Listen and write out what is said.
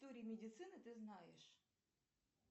медицины ты знаешь